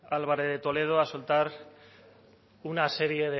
álvarez de toledo a soltar una serie